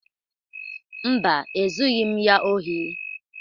Mba, Ezughị m ya ohi.